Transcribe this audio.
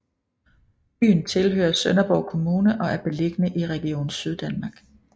Byen tilhører Sønderborg Kommune og er beliggende i Region Syddanmark